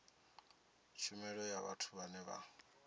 tshumelo ya vhathu vhane vha